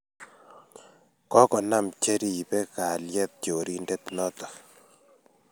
kokonam che ribei kalyet chorindet notok